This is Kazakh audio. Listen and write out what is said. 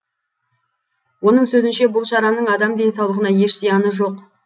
оның сөзінше бұл шараның адам денсаулығына еш зияны жоқ